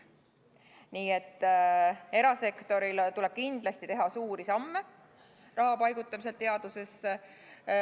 Nii et erasektoril tuleb kindlasti teha suuri samme raha paigutamisel teadusesse.